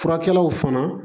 Furakɛlaw fana